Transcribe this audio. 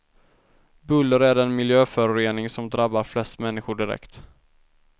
Buller är den miljöförorening som drabbar flest människor direkt.